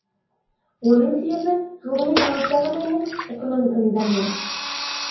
оның себебі ғылыми жаңалықтар ғана емес экономиканың дамуы